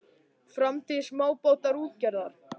Framtíð smábátaútgerðar?